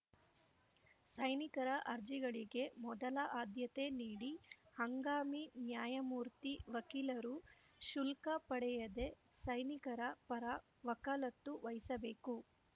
ಸೈನಿಕರ ಅರ್ಜಿಗಳಿಗೆ ಮೊದಲ ಆದ್ಯತೆ ನೀಡಿ ಹಂಗಾಮಿ ನ್ಯಾಯಮೂರ್ತಿ ವಕೀಲರು ಶುಲ್ಕ ಪಡೆಯದೇ ಸೈನಿಕರ ಪರ ವಕಾಲತ್ತು ವಹಿಸಬೇಕು